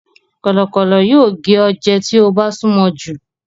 Kọ̀lọ̀kọ́lọ̀ yóò gé ọ jẹ tí o bá súnmọ jù.